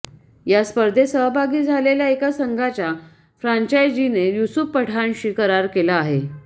या स्पर्धेत सहभागी झालेल्या एका संघाच्या फ्रांचायजीने यूसूफ पठाणशी करार केला आहे